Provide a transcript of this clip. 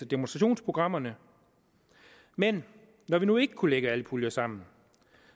demonstrationsprogrammerne men når vi nu ikke kunne lægge alle puljer sammen